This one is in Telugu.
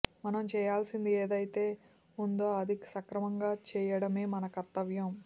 మనం చేయాల్సింది ఏదైతే ఉందో అది సక్రమంగా చేయడమే మన కర్తవ్యం